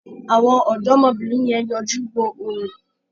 Àwọn ọ̀dọ́mọbìnrin yẹn yọjú wo orò.